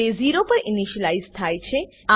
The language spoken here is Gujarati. તે 0 પર ઈનીશલાઈઝ થાય છે